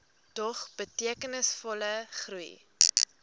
dog betekenisvolle groei